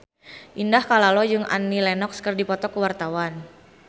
Indah Kalalo jeung Annie Lenox keur dipoto ku wartawan